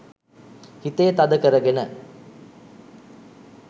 හිතේ තද කරගෙන